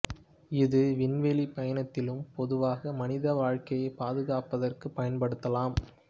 இது விண்வெளி பயணத்திலும் பொதுவாக மனித வாழ்க்கையை பாதுகாப்பதற்கும் பயன்படுத்தலாம்